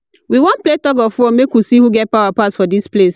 We wan play tug of war make we see who get power pass for dis place.